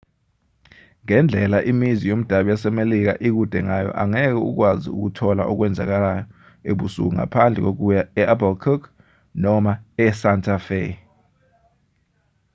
ngendlela imizi yomdabu yasemelika ikude ngayo angeke ukwazi ukuthola okwenzekayo ebusuku ngaphandle kokuya e-albuquerque noma esanta fe